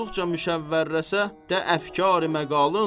Olduqca müşəvvərləşə də əfkar məqalın.